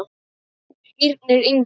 Skírnir Ingi.